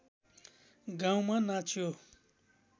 गाउँमा नाच्यो